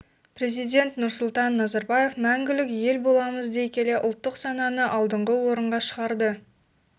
президент нұрсұлтан назарбаев мәңгілік елболамыз дей келе ұлттық сананы алдыңғы орынға шығарды